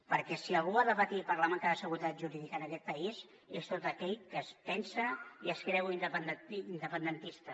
perquè si algú ha de patir per la manca de seguretat jurídica en aquest país és tot aquell que es pensa i es creu independentista